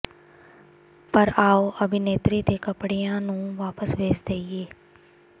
ਪਰ ਆਓ ਅਭਿਨੇਤਰੀ ਦੇ ਕੱਪੜਿਆਂ ਨੂੰ ਵਾਪਸ ਭੇਜ ਦੇਈਏ